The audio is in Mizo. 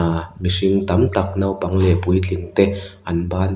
ahh mihring tam tak naupang leh puitlingte an banphar --